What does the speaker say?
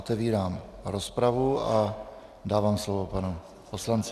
Otevírám rozpravu a dávám slovo panu poslanci.